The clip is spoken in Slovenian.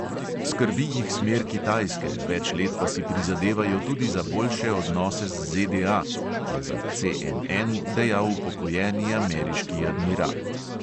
"Skrbi jih smer kitajske, več let pa si prizadevajo tudi za boljše odnose z ZDA," je za CNN dejal upokojeni ameriški admiral.